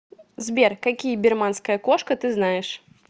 сбер какие бирманская кошка ты знаешь